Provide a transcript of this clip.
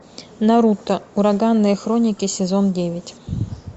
наруто ураганные хроники сезон девять